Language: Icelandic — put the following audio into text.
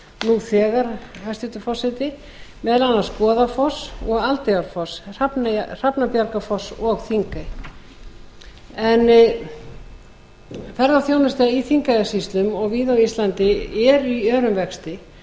nú þegar hæstvirtur forseti meðal annars goðafoss og aldeyjarfoss hrafnabjargafoss og þingey en ferðaþjónusta í þingeyjarsýslum og víða á íslandi eru í örum vexti